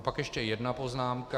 A pak ještě jedna poznámka.